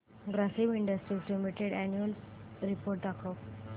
Grasim industries limited annual report दाखव